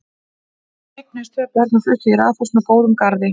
Þau eignuðust tvö börn og fluttu í raðhús með góðum garði.